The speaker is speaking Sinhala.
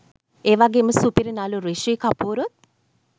ඒවගේම සුපිරි නලු රිශී කපූරුත්